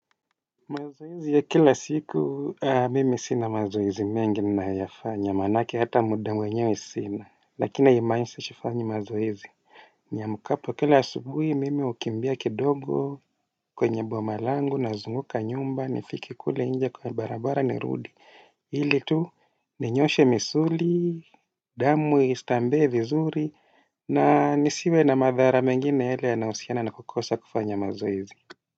Mazoezi ya kila siku mimi sina mazoezi mengi ninayoyafanya maanake hata muda mwenyewe sina lakina haimaanishi sifanyi mazoezi. Niamkapo kila subuhi mimi hukimbia kidogo kwenye bomalangu nazunguka nyumba nifike kule nje kwa barabara nirudi ili tu ninyoshe misuli, damu istambee vizuri na nisiwe na madhara mengine yale yanayohusiana na kukosa kufanya mazoezi.